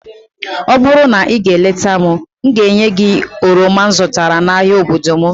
ọ bụrụ na ị gaa leta m, ga-enye gị oroma m zụtara n'ahịa obodo m